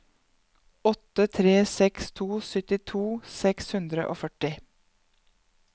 åtte tre seks to syttito seks hundre og førti